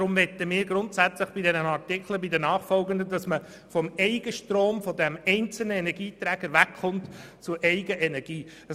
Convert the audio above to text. Deshalb möchten wir bei diesem Artikel sowie bei den folgenden grundsätzlich vom Eigenstrom, von diesem einzelnen Energieträger, wegkommen und zur eigenen Energie übergehen.